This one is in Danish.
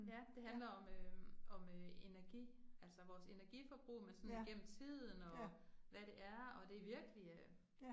Ja, det handler om øh om øh energi, altså vores energiforbrug, men sådan igennem tiden og hvad det er og, det virkelig øh